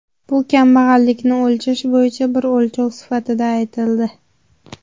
Bu kambag‘allikni o‘lchash bo‘yicha bir o‘lchov sifatida aytildi.